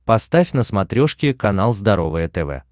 поставь на смотрешке канал здоровое тв